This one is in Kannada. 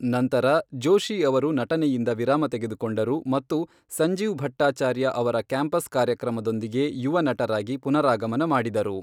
ನಂತರ, ಜೋಶಿ ಅವರು ನಟನೆಯಿಂದ ವಿರಾಮ ತೆಗೆದುಕೊಂಡರು ಮತ್ತು ಸಂಜೀವ್ ಭಟ್ಟಾಚಾರ್ಯ ಅವರ ಕ್ಯಾಂಪಸ್ ಕಾರ್ಯಕ್ರಮದೊಂದಿಗೆ ಯುವ ನಟರಾಗಿ ಪುನರಾಗಮನ ಮಾಡಿದರು.